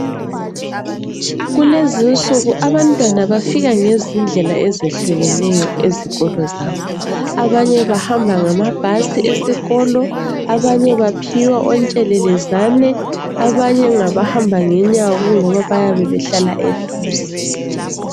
Kulezinsuku abantwana bafika ngezindlela ezihlukeneyo ezikolo zabo. Abanye bahamba ngamabhasi esikolo ,abanye baphiwa ontshelelezane ,abanye ngabahamba ngenyawo kungoba bayabe behlala eduze .